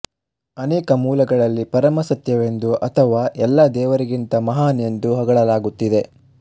ಅನೇಕ ಮೂಲಗಳಲ್ಲಿ ಪರಮ ಸತ್ಯವೆಂದು ಅಥವಾ ಎಲ್ಲ ದೇವರಿಗಿಂತ ಮಹಾನ್ ಎಂದು ಹೊಗಳಲಾಗುತ್ತಿದೆ